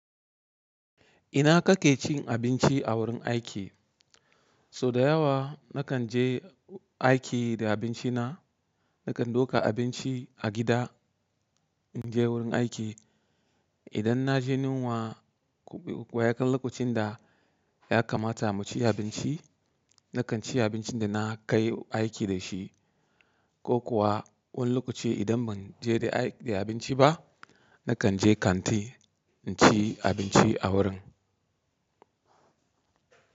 Ina kake cin abinci a wurin aiki? So da yawa nakan je aiki da abinci na. Nakan duka abinci a gida, in je wurin aiki. Idan na je yunwa, wa ya kan lokacin da ya kamata mu ci abinci, nakan ci abincin da na kai aiki da shi. Ko kuwa, wani lokaci idan ban je da abinci ba, nakan je kanti in ci abinci a wurin.